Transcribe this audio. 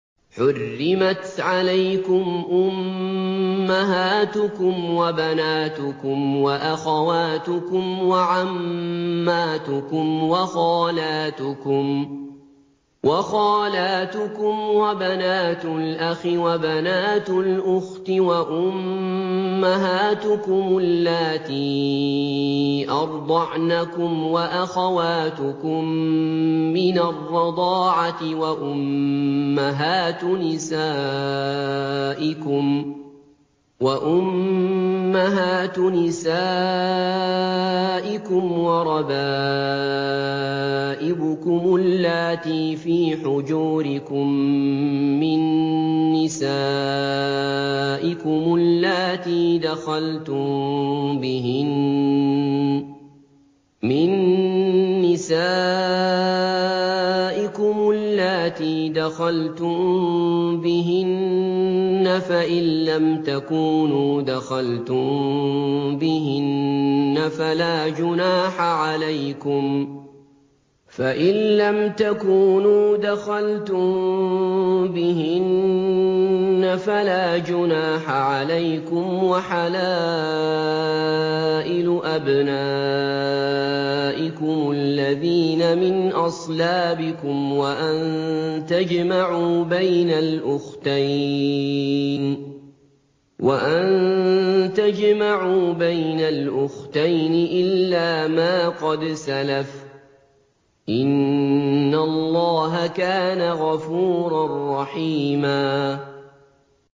حُرِّمَتْ عَلَيْكُمْ أُمَّهَاتُكُمْ وَبَنَاتُكُمْ وَأَخَوَاتُكُمْ وَعَمَّاتُكُمْ وَخَالَاتُكُمْ وَبَنَاتُ الْأَخِ وَبَنَاتُ الْأُخْتِ وَأُمَّهَاتُكُمُ اللَّاتِي أَرْضَعْنَكُمْ وَأَخَوَاتُكُم مِّنَ الرَّضَاعَةِ وَأُمَّهَاتُ نِسَائِكُمْ وَرَبَائِبُكُمُ اللَّاتِي فِي حُجُورِكُم مِّن نِّسَائِكُمُ اللَّاتِي دَخَلْتُم بِهِنَّ فَإِن لَّمْ تَكُونُوا دَخَلْتُم بِهِنَّ فَلَا جُنَاحَ عَلَيْكُمْ وَحَلَائِلُ أَبْنَائِكُمُ الَّذِينَ مِنْ أَصْلَابِكُمْ وَأَن تَجْمَعُوا بَيْنَ الْأُخْتَيْنِ إِلَّا مَا قَدْ سَلَفَ ۗ إِنَّ اللَّهَ كَانَ غَفُورًا رَّحِيمًا